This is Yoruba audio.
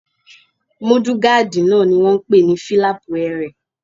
Múdúgáàdì náà ni wọ́n n pè ní fílàpù ẹrẹ̀